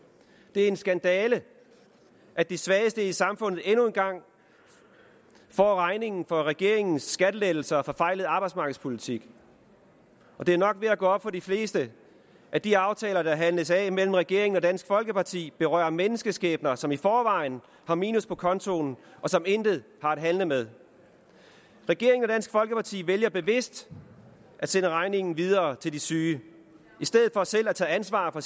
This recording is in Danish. det er en skandale at de svageste i samfundet endnu en gang får regningen for regeringens skattelettelser og forfejlede arbejdsmarkedspolitik og det er nok ved at gå op for de fleste at de aftaler der handles af mellem regeringen og dansk folkeparti berører menneskeskæbner som i forvejen har minus på kontoen og som intet har at handle med regeringen og dansk folkeparti vælger bevidst at sende regningen videre til de syge i stedet for selv at tage ansvar for